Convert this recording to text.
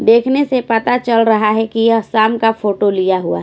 देखने से पता चल रहा है कि यह शाम का फोटो लिया हुआ है।